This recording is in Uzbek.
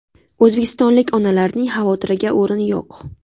O‘zbekistonlik onalarning xavotiriga o‘rin yo‘q.